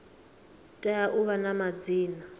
tea u vha na madzina